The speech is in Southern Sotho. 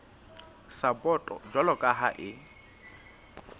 sapoto jwalo ka ha e